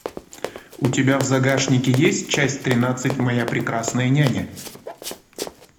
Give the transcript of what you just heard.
у тебя в загашнике есть часть тринадцать моя прекрасная няня